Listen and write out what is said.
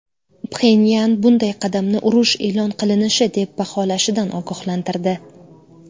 Pxenyan bunday qadamni urush e’lon qilinishi deb baholashidan ogohlantirdi.